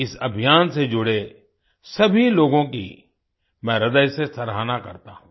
इस अभियान से जुड़े सभी लोगों की मैं हृदय से सराहना करता हूँ